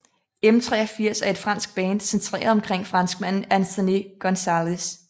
M83 er et fransk band centreret omkring franskmanden Anthony Gonzalez